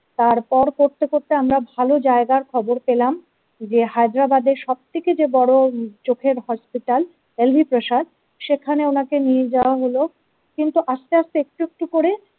তারপর করতে করতে আমরা ভালো জায়গার খবর পেলাম যে হায়দ্রাবাদের সব থেকে যে বড় চোখের হসপিটাল এলবি প্রসাদ সেখানে ওনাকে নিয়ে যাওয়া হল কিন্তু আস্তে আস্তে একটু একটু করে।